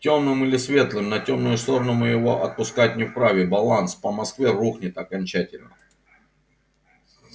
тёмным или светлым на тёмную сторону мы его отпускать не вправе баланс по москве рухнет окончательно